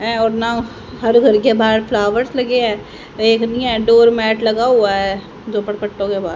हैं और नाव हर घर के बाहर फ्लावर्स लगे हैं एक नहीं है डोरमैट लगा हुआ है झोपड़ पट्टों के बाहर।